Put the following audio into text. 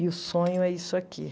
E o sonho é isso aqui.